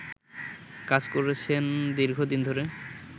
কাজ করছেন দীর্ঘদিন ধরে